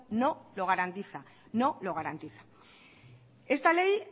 no lo garantiza no lo garantiza esta ley